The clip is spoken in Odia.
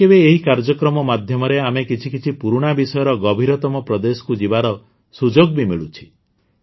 କେବେ କେବେ ଏହି କାର୍ଯ୍ୟକ୍ରମ ମାଧ୍ୟମରେ ଆମେ କିଛି କିଛି ପୁରୁଣା ବିଷୟର ଗଭୀରତମ ପ୍ରଦେଶକୁ ଯିବାର ସୁଯୋଗ ବି ମିଳୁଛି